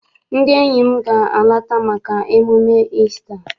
Ndị enyi m ga- alata maka emume Isita.